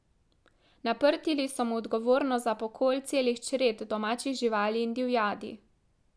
Naprtili so mu odgovornost za pokol celih čred domačih živali in divjadi.